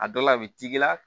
A dɔ la a bɛ t'i la